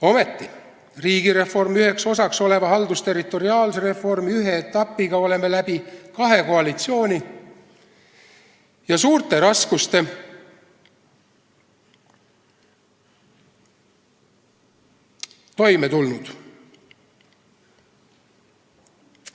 Ometi, riigireformi üheks osaks oleva haldusterritoriaalse reformi ühe etapiga oleme läbi kahe koalitsiooni ja suurte raskuste toime tulnud.